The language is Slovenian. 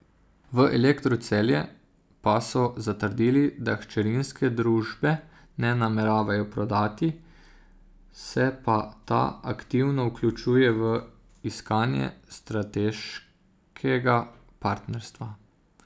V Elektru Celje pa so zatrdili, da hčerinske družbe ne nameravajo prodati, se pa ta aktivno vključuje v iskanje strateškega partnerstva.